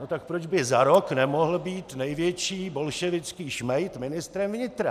No tak proč by za rok nemohl být největší bolševický šmejd ministrem vnitra?